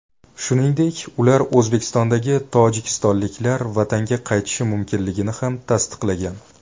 Shuningdek, ular O‘zbekistondagi tojikistonliklar vatanga qaytishi mumkinligini ham tasdiqlagan.